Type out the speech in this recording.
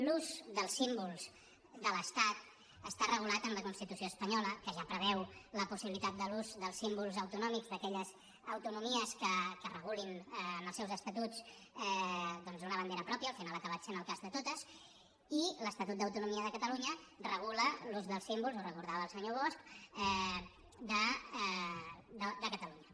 l’ús dels símbols de l’estat està regulat en la constitució espanyola que ja preveu la possibilitat de l’ús dels símbols autonòmics d’aquelles autonomies que regulin en els seus estatuts doncs una bandera pròpia al final ha acabat sent el cas de totes i l’estatut d’autonomia de catalunya regula l’ús dels símbols ho recordava el senyor bosch de catalunya